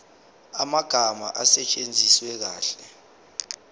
amagama asetshenziswe kahle